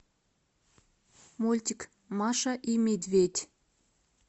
мультик маша и медведь